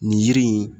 Nin yiri in